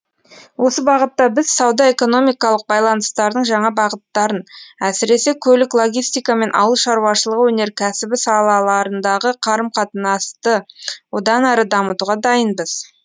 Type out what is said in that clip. осы бағытта біз сауда экономикалық байланыстардың жаңа бағыттарын әсіресе көлік логистика мен ауыл шаруашылығы өнеркәсібі салаларындағы қарым қатынасты одан әрі дамытуға дайынбыз